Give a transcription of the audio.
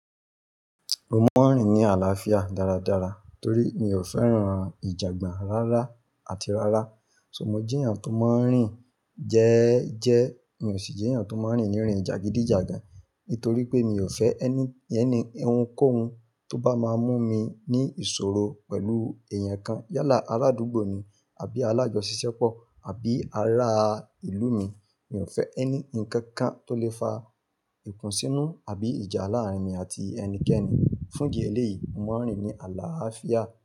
Mo máa ń rìn ní àlàáfíà dáradára torí mi ò fẹ́ran ìjànbà rárá àti rárá. So mo jẹ́ èèyàn tó máa ń rìn jẹ́ẹ́jẹ́, mi ò sì jẹ́ èèyàn tó máa ń rìn ní rin jagidijagan nítorí pé mi ò fẹ́ ẹni yẹn ni ohunkóhun tó bá máa mú mi ní ìṣòro pẹ̀lú èèyàn kan yálà aládùúgbò mi àbí alájọṣisẹ́pọ̀ àbí ará ìlú mi. Mi ò fẹ́ ẹni nǹkan kan tó lè fa ikùnsínú àbí ìjà láàárín mi àti ẹnikẹ́ni. Fún ìdí eléyìí, mo máa ń rìn ní àlàáfíà.